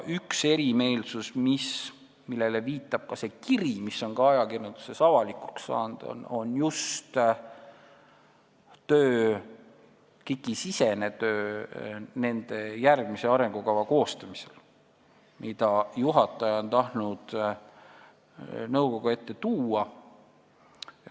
Üks erimeelsus, millele viitab ka see kiri, mis on ajakirjanduses avalikuks saanud, on seotud just asutusesisese tööga KIK-i järgmise arengukava koostamisel, mida juhataja on tahtnud nõukogu ette tuua.